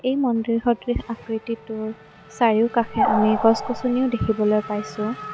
এই মন্দিৰ সদৃশ আকৃতিটোৰ চাৰিওকাষে আমি গছ-গছনিও দেখিবলৈ পাইছোঁ।